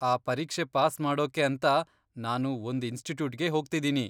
ಆ ಪರೀಕ್ಷೆ ಪಾಸ್ ಮಾಡೋಕೆ ಅಂತ ನಾನು ಒಂದ್ ಇನ್ಸ್ಟಿಟ್ಯೂಟ್ಗೆ ಹೋಗ್ತಿದ್ದೀನಿ.